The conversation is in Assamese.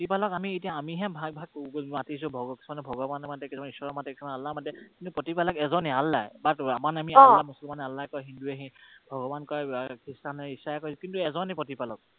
প্ৰতিপালকক আমি এতিয়া আমিহে ভাগ ভাগকৈ মাতিছো, কিছুমানে ভগৱানক মাতে, কিছুমানে ঈশ্বৰক মাতে, কিছুমান আল্লাহক মাতে কিন্তু প্ৰতিপালক এজনেই, আল্লাহেই। মুছলমানে আল্লাহ কয়, হিন্দুৱে ভগৱান কয়, খ্ৰীষ্টানে ঈশাই কয় কিন্তু এজনেই প্ৰতিপালক।